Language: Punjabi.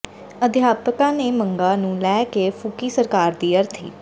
ਅਧਿਆਪਕਾਂ ਨੇ ਮੰਗਾਂ ਨੂੰ ਲੈ ਕੇ ਫੂਕੀ ਸਰਕਾਰ ਦੀ ਅਰਥੀ